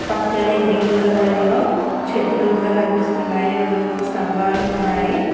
పక్కనే green colour లో చెట్లు కూడా కనిపిస్తున్నాయి రెండు మూడు స్తంభాలు ఉన్నాయి.